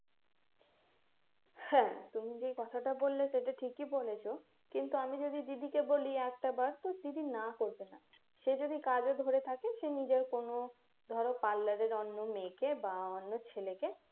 হ্যাঁ তুমি যেই কথাটা বললে ঠিকই বলেছ কিন্তু আমি যদি দিদিকে বলি একটাবার তো দিদি না করবে না সে যদি কাজে ধরে থাকে সে নিজের কোন ধরো parlour এর অন্য মেয়েকে বা অন্য ছেলেকে